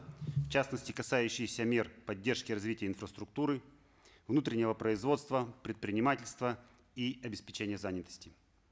в частности касающиеся мер поддержки развития инфраструктуры внутреннего производства предпринимательства и обеспечения занятости